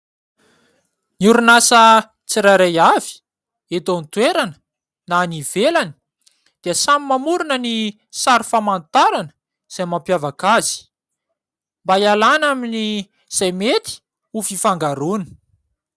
Ny orinasa tsirairay avy eto an-toerana na any ivelany dia samy mamorina ny sary famantarana, izay mampiavaka azy; mba hialana amin'izay mety ho fifangaroana.